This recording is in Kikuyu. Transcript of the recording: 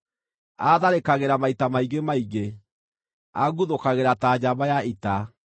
Aatharĩkagĩra maita maingĩ maingĩ; anguthũkagĩra ta njamba ya ita.